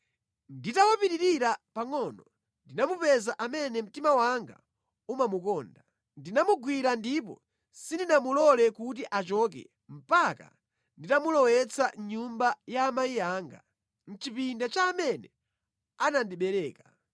Nditawapitirira pangʼono ndinamupeza amene mtima wanga umamukonda. Ndinamugwira ndipo sindinamulole kuti achoke mpaka nditamulowetsa mʼnyumba ya amayi anga, mʼchipinda cha amene anandibereka.